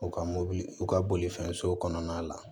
U ka mobili u ka bolifɛn so kɔnɔna la